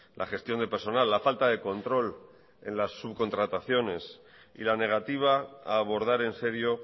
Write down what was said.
la gestión de personal la falta de control en las subcontrataciones y la negativa a abordar en serio